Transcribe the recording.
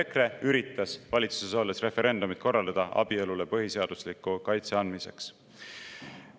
Seevastu EKRE üritas valitsuses olles korraldada referendumi abielule põhiseadusliku kaitse andmise.